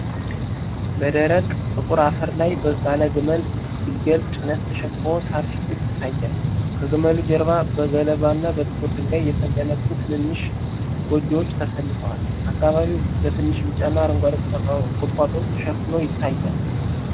በደረቅ ጥቁር አፈር ላይ ባለ የግመል ግልገል ጭነት ተሸክሞ ሣር ሲግጥ ይታያል። ከግመሉ ጀርባ በገለባና በጥቁር ድንጋይ የተገነቡ ትናንሽ ጎጆዎች ተሰልፈዋል። አካባቢው በትንሽ ቢጫና አረንጓዴ ቁጥቋጦዎች ተሸፍኖ ይታያል።